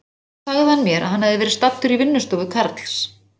Síðan sagði hann mér að hann hefði verið staddur í vinnustofu Karls